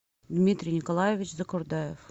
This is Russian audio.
дмитрий николаевич закурдаев